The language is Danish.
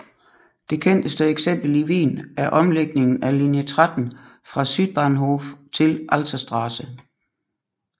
Det kendteste eksempel i Wien er omlægningen af linje 13 fra Südbahnhof til Alserstraße